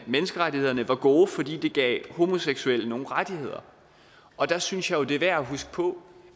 menneskerettighederne var gode fordi det gav homoseksuelle nogle rettigheder og der synes jeg jo det er værd at huske på